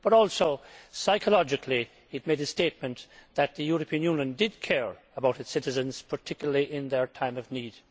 But also, psychologically, it made a statement that the European Union did care about its citizens, particularly in their time of need.